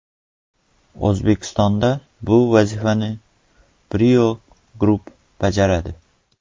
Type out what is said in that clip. O‘zbekistonda bu vazifani Brio Group bajaradi.